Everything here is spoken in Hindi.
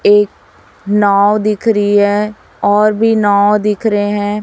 एक नाव दिख रही है और भी नाव दिख रहे हैं।